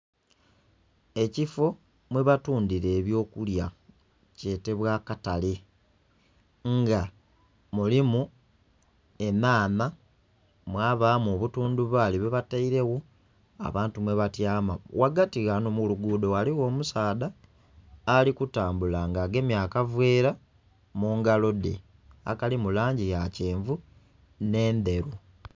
Ekifo mwebatundhira ebyokulya kyetebwa akatale nga mulimu enhanha, mwabamu obuthundhubali bwebatairegho abantu mwebatyama, ghagati ghano mulugudho ghaligho omusaadha alikutambula nga agemye akaveera mungalo dhe akali mulangi yakyenvu nh'endheru.